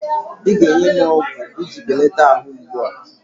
ị ga-enye m ọgwụ iji belata arụ mgbu a?